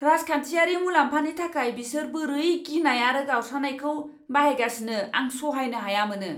राजखान्थियारि मुलाम्फानि थाखाय बिसोर बोरै गिनाय आरो गावस्रानायखौ बाहायगासिनो आं सहायनो हाया मोनो!